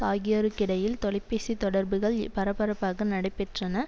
ஆகியோருக்கிடையில் தொலைபேசித் தொடர்புகள் பரப்பரப்பாக நடைபெற்றன